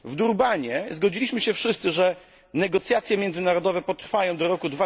W Durbanie zgodziliśmy się wszyscy, że negocjacje międzynarodowe potrwają do roku